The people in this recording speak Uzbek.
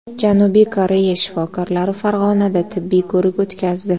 Janubiy Koreya shifokorlari Farg‘onada tibbiy ko‘rik o‘tkazdi.